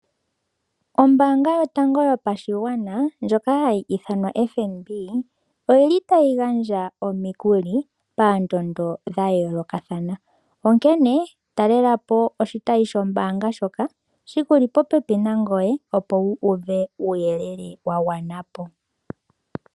Ombaanga yotango yopashigwana ndjoka hayi ithanwa FNB oyili tayi gandja omikuli pondoondo dha yoolokathana. Onkene talelapo oshitayi shombaanga ndjoka shili popepi nangoye opo wu uve uuyelele wa gwanapo.